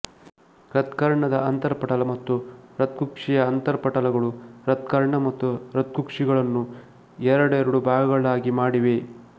ಹೃತ್ಕರ್ಣದ ಅಂತರಪಟಲ ಮತ್ತು ಹೃತ್ಕುಕ್ಷಿಯ ಅಂತರಪಟಲಗಳು ಹೃತ್ಕರ್ಣ ಮತ್ತು ಹೃತ್ಕುಕ್ಷಿಗಳನ್ನು ಎರಡೆರಡು ಭಾಗಗಳನ್ನಾಗಿ ಮಾಡಿವೆ